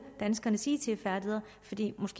danskernes it færdigheder fordi